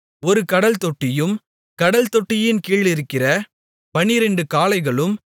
ஒரு கடல் தொட்டியும் கடல் தொட்டியின் கீழிருக்கிற 12 காளைகளும்